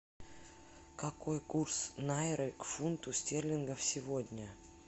какой курс найры к фунту стерлингов сегодня